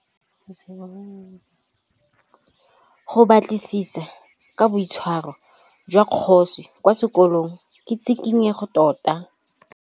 Go batlisisa ka boitshwaro jwa Kagiso kwa sekolong ke tshikinyêgô tota.